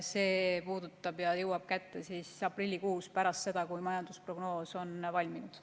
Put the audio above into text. See jõuab kätte aprillikuus, pärast seda kui majandusprognoos on valminud.